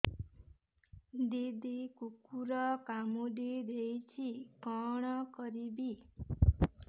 ଦିଦି କୁକୁର କାମୁଡି ଦେଇଛି କଣ କରିବି